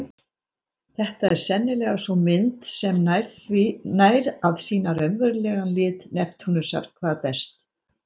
Þetta er sennilega sú mynd sem nær að sýna raunverulegan lit Neptúnusar hvað best.